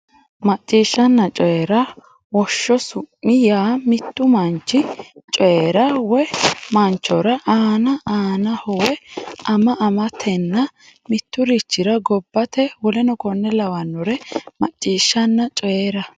Macciishshanna Coyi ra Woshsho su mi yaa mittu manchi Coyi ra woy manchora anna annaho woy ama amatenna mitturichira gobbate w k l Macciishshanna Coyi ra.